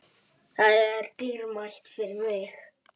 Það er dýrmætt fyrir mig.